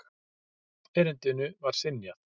Erindinu var synjað.